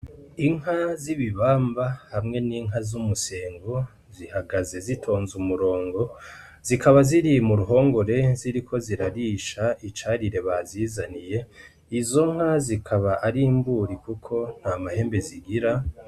Inka z'ibibamba hamwe n'inka z'umusengo zihagaze zitonze umurongo, zikaba ziri mu ruhongore ziriko zirarisha icarire bazizaniye, izo nka zikaba ari imburi kuko nta mahembe zigira.